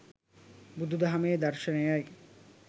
බුදු දහමේ දර්ශනයයි.